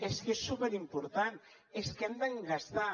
és que és superimportant és que hem de gastar